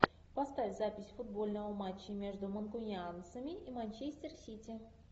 поставь запись футбольного матча между манкунианцами и манчестер сити